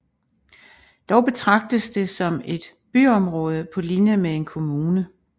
Dog betragtes det som et byområde på linje med en kommune